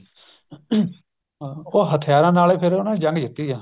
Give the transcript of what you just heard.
ਹਾਂ ਉਹ ਹਥਿਆਰਾਂ ਨਾਲ ਫ਼ਿਰ ਉਹਨਾ ਨੇ ਜੰਗ ਜਿੱਤੀ ਆ